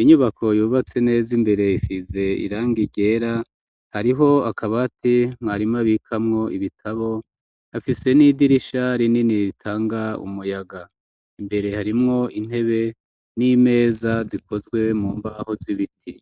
inyubako yubatse neza imbere isize irangi ryera hariho akabati mwarimu abikamwo ibitabo afise n'idirisha rinini ritanga umuyaga imbere harimwo intebe n'imeza zikozwe mu mbaho z'ibiti.